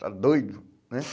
Está doido, né?